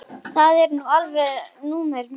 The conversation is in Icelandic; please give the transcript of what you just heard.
Það er nú alveg númer eitt.